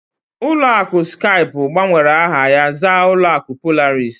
Ụlọ akụ Skype gbanwere aha ha zaa ụlọ akụ Polaris.